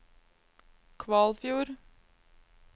Kvalfjord